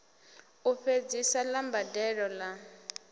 u fhedzisa ḽa mbadelo ḽa